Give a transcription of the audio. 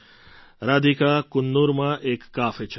રાધિકા કન્નૂરમાં એક કાફે ચલાવે છે